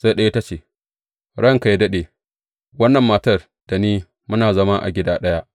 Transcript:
Sai ɗaya ta ce, Ranka yă daɗe, wannan mata da ni muna zama a gida ɗaya.